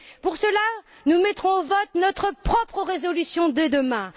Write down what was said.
Pour cela, nous mettrons au vote notre propre résolution dès demain.